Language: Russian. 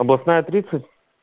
областная тридцать